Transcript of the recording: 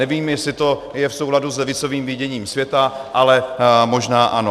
Nevím, jestli to je v souladu s levicovým viděním světa, ale možná ano.